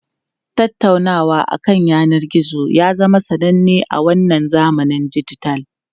Tattaunawa akan yanar gizo ya zama sananne a wannan zamanin dijital.